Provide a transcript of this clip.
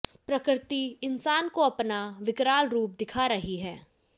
प्रकृति इंसान को अपना विकराल रुप दिखा रही है